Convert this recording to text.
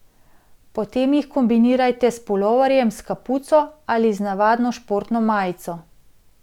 Potem jih kombinirajte s puloverjem s kapuco ali z navadno športno majico.